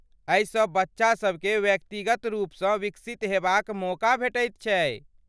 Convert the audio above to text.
एहिसँ बच्चा सभके व्यक्तिगत रुपसँ विकसित हेबाक मौका भेटैत छै।